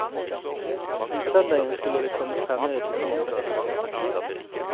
Om søndagen skulle det komme fremmede til kongsgården.